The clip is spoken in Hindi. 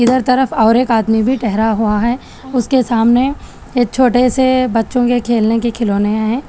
इधर तरफ और एक आदमी भी ठहरा हुआ है उसके सामने एक छोटे से बच्चों के खेलने के खिलौने है।